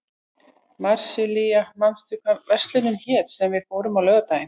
Marsilía, manstu hvað verslunin hét sem við fórum í á laugardaginn?